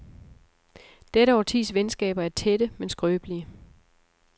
Dette årtis venskaber er tætte, men skrøbelige.